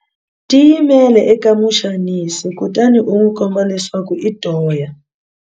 Tiyimele eka muxanisi kutani u n'wi komba leswaku i toya.